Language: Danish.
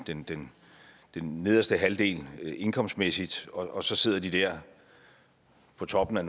den den nederste halvdel indkomstmæssigt og så sidder de der på toppen af